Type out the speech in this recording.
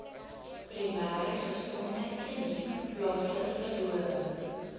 primêregesondheidkliniek plaaslike verdowing